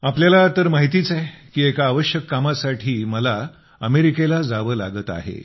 तुम्हाला तर माहितीच आहे की एका आवश्यक कामासाठी मला अमेरिकेला जावे लागत आहे